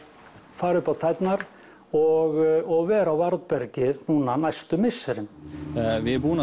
fara upp á tærnar og vera á varðbergi núna næstu misserin við